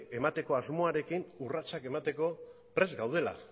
emateko asmoarekin urratsak emateko prest gaudela